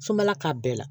Sobala k'a bɛɛ la